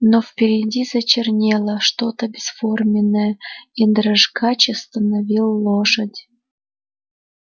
но впереди зачернело что-то бесформенное и дрожкач остановил лошадь